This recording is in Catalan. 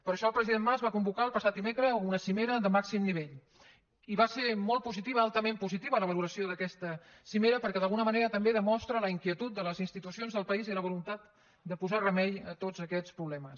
per això el president mas va convocar el passat dimecres una cimera de màxim nivell i va ser molt positiva altament positiva la valoració d’aquesta cimera perquè d’alguna manera també demostra la inquietud de les institucions del país i la voluntat de posar remei a tots aquests problemes